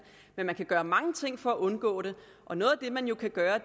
men man kan gøre mange ting for at undgå det og noget af det man jo kan gøre